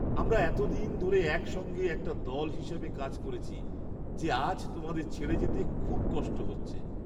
আমরা এতদিন ধরে একসঙ্গে একটা দল হিসেবে কাজ করেছি যে আজ তোমাদের ছেড়ে যেতে খুব কষ্ট হচ্ছে।